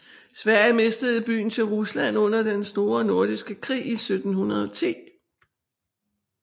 Sverige mistede byen til Rusland under Den Store Nordiske Krig i 1710